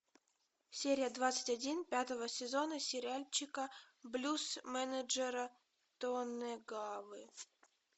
серия двадцать один пятого сезона сериальчика блюз менеджера тонэгавы